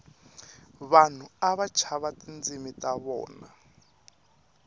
vanhu ava tshava tindzimu ta vona